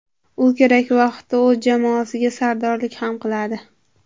U kerak vaqtda o‘z jamoasiga sardorlik ham qiladi.